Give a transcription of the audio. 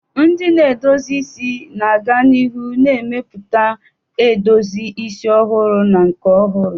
Ndị na-edozi isi ga-aga n'ihu na-emepụta edozi isi ọhụrụ na nke ọhụrụ.